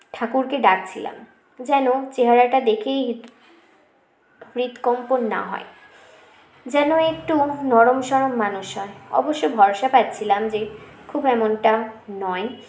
ঠাকুরকে ডাক ছিলাম যেন চেহারাটা দেখেই হৃ হৃদ কম্পন না হয় যেন একটু নরম সরম মানুষ হয় অবশ্য ভরসা পাচ্ছিলাম যে খুব এমনটা নয়